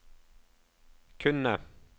kunne